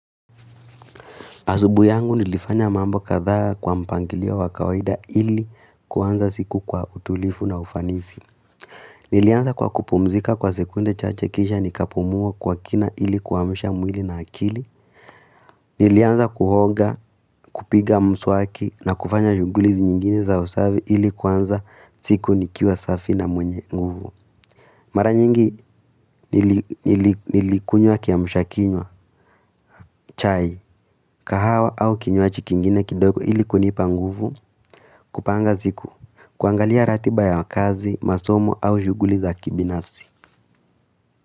Asubui yangu nilifanya mambo katha kwa mpangiliowa wakawaida ili kuanza siku kwa utulifu na ufanisi. Nilianza kwa kupumzika kwa sekunde cha che kisha nikapumuwa kwa kina ili kuwamisha mwili na akili. Nilianza kuhoga, kupiga mswaki na kufanya shugulizi nyingine za usavi ili kuanza siku nikiwa safi na mwenye nguvu. Mara nyingi nilikunywa kiamushakinywa, chai, kahawa au kinyuachi kingine kidogo ili kunipa nguvu, kupanga ziku, kuangalia ratiba ya kazi, masomo au shuguli za kibinafsi.